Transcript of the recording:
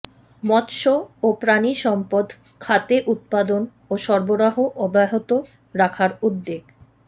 মৎস্য ও প্রাণিসম্পদ খাতে উৎপাদন ও সরবরাহ অব্যাহত রাখার উদ্যোগ